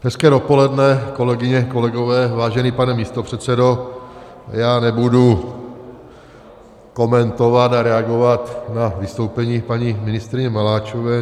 Hezké dopoledne, kolegyně, kolegové, vážený pane místopředsedo, já nebudu komentovat a reagovat na vystoupení paní ministryně Maláčové.